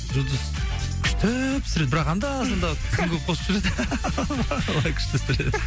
жұлдыз күшті пісіреді бірақ анда санда тұзын көп қосып жібереді былай күшті пісіреді